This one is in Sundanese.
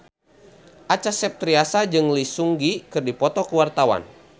Acha Septriasa jeung Lee Seung Gi keur dipoto ku wartawan